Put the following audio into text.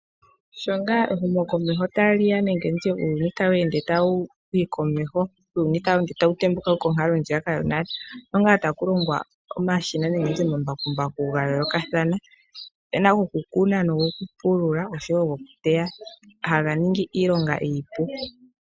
Sho ngaa ehumokomeho ta li ya nenge nditye uuyuni tawu ende tawu yi komeho, uuyuni tawu ende tawu tembuka konkalo ndjiyaka yonale, osho ngaa taku longwa omashina nenge nditye omambakumbaku ga yoolokathana. Ope na gokukuna nogokupulula osho wo gokuteya, haga ningi iilonga iipu.